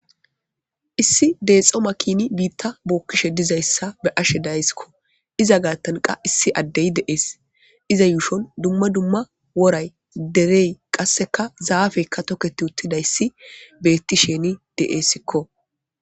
Issi deexo makini biitta bookkishe dizayssa be'ashe dayassikko iza gaattanqa issi addey de'ees iza yuushon dumma dumma woray derey qasseka zaafekka toketi uttidayssi beettishini de'eessikko